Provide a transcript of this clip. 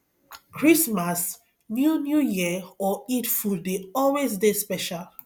christmas new new year or eid food de always dey special